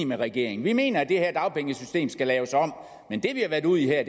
med regeringen vi mener at det her dagpengesystem skal laves om men det vi har været ude i her er